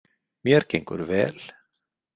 Mér gengur vel.